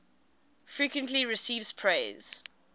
frequently receives praise